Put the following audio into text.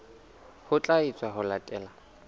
ho tla etswa ho latela